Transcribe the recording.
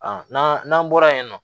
N'an n'an bɔra yen nɔ